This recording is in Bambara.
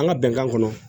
An ka bɛnkan kɔnɔ